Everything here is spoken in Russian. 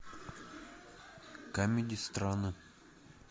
камеди страны